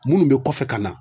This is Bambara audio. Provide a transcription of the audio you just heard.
Minnu be kɔfɛ ka na